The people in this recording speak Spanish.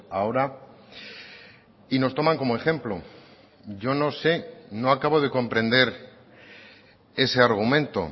ahora y nos toman como ejemplo yo no sé no acabo de comprender ese argumento